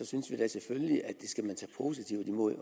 synes vi da selvfølgelig at vi skal tage positivt imod